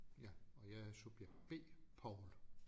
Ja og jeg er subjekt B Poul